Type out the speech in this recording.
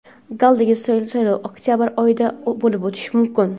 galdagi saylov oktyabr oyida bo‘lib o‘tishi mumkin.